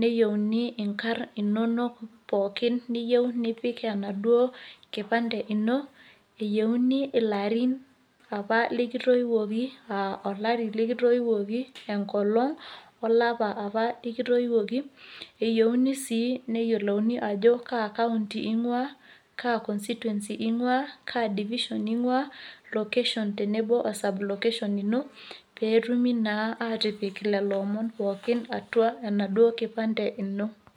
neyeuni enkar inonok pookin , niyeu nipik ena duo nkipande ino iyeuni ilaarin apaa likitoipoki , olarin likitoipoki , enkolong olapa apaa likitoipoki . Keyeuni sii niyolouni kaa county inguaa , kaa constituency inguaa , kaa division inguaa , location tenebo oo sub location ino ,peeitumi naa aatipik ina loomon pookin atua enkipande ino.